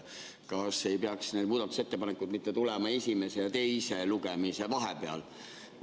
Kas need muudatusettepanekud ei peaks mitte tulema esimese ja teise lugemise vahepeal?